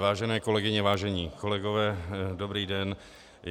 Vážené kolegyně, vážení kolegové, dobrý den.